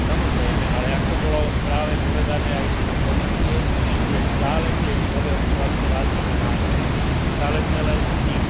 Samozrejme, ale ako bolo práve povedané aj z úst Komisie, ešte stále tie nové očkovacie látky nemáme, stále sme len v tých